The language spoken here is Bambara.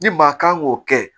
Ni maa kan k'o kɛ